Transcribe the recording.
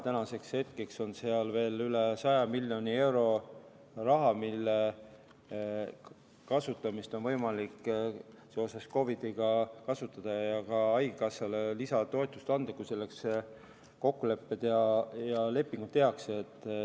Tänaseks hetkeks on seal veel üle 100 miljoni euro, mida on võimalik seoses COVID-iga kasutada ja ka haigekassale lisatoetust anda, kui selleks kokkulepped ja lepingud tehakse.